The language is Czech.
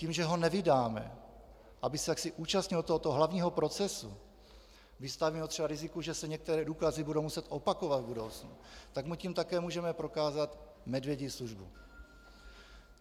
Tím, že ho nevydáme, aby se jaksi účastnil tohoto hlavního procesu, vystavíme ho třeba riziku, že se některé důkazy budou muset opakovat v budoucnu, tak mu tím také můžeme prokázat medvědí službu.